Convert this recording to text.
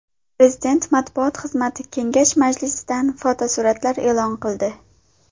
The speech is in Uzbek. Prezident matbuot xizmati Kengash majlisidan fotosuratlar e’lon qildi .